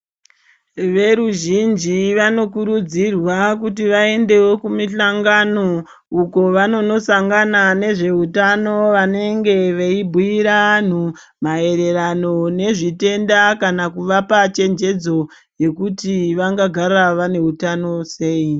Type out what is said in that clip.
Veruzhinji vanokurudzirwa kuti vaendewo kumihlangano uko vanonosangana nezveutano vanenge veibhuira anhu maererano nezvitenda kana kuvapa chenjedzo yekuti vangagara vane utano sei.